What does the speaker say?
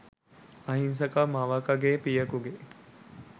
අහිංසක මවකගේ පියෙකුගේ